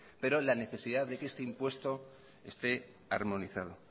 pero la necesidad de que este impuesto esté armonizado